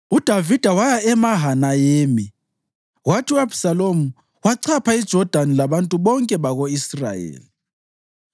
UDavida waya eMahanayimi, kwathi u-Abhisalomu wachapha iJodani labantu bonke bako-Israyeli.